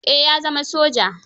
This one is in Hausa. Eh ya zama soja.